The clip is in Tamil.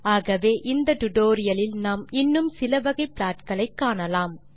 ஆகவே இந்த டியூட்டோரியல் இல் நாம் இன்னும் சில வகை ப்ளாட் களை காணலாம்